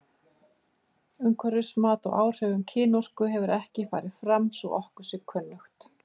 Umhverfismat á áhrifum kynorku hefur ekki farið fram svo að okkur sé kunnugt.